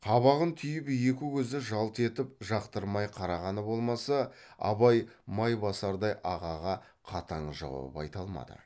қабағын түйіп екі көзі жалт етіп жақтырмай қарағаны болмаса абай майбасардай ағаға қатаң жауап айта алмады